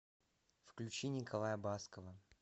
включи николая баскова